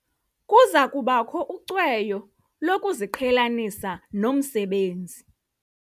Kuza kubakho ucweyo lokuziqhelanisa nomsebenzi.